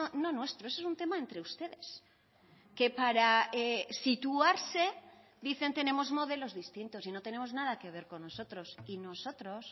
no nuestro eso es un tema entre ustedes que para situarse dicen tenemos modelos distintos y no tenemos nada que ver con nosotros y nosotros